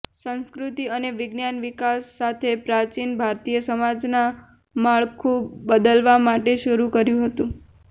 સંસ્કૃતિ અને વિજ્ઞાન વિકાસ સાથે પ્રાચીન ભારતીય સમાજના માળખું બદલવા માટે શરૂ કર્યું હતું